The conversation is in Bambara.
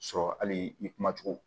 Sɔrɔ hali i kuma cogo